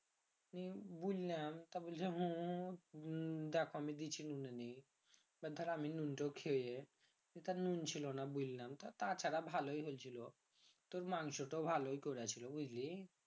উম বুইললাম তা বলছে হম দেখো নুন ছিলনা বুললাম তা ছাড়া ভালই হইছিলো তোর মাংস তাও ভালই করেছিল বুঝলি